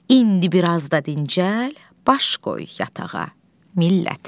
İndi biraz da dincəl, baş qoy yatağa millət.